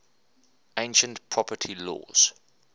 ancient property laws